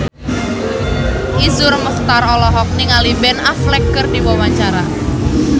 Iszur Muchtar olohok ningali Ben Affleck keur diwawancara